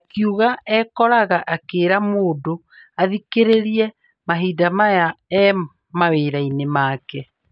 Akiuga ekoraga akĩra mũndũ athikĩrĩrie mahinda maya e mawĩra-inĩ make.